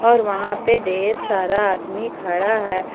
और वहां पे ढेर सारा आदमी खड़ा है।